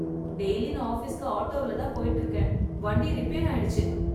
Daily நான் ஆபீஸ்க்கு ஆட்டோவில் தான் போயிட்டு இருக்கேன். வண்டி ரிப்பேர் ஆயிடுச்சு.